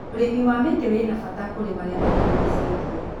ũrĩmi wa mĩti wĩna bata kũrĩ marĩa matũrigicĩirie.